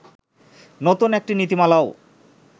নতুন একটি নীতিমালাও